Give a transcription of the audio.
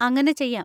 അങ്ങനെ ചെയ്യാം.